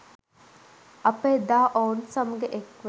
අප එදා ඔවුන් සමග එක්ව